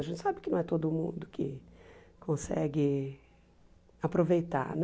A gente sabe que não é todo mundo que consegue aproveitar, né?